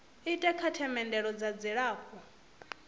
ite kha themendelo dza dzilafho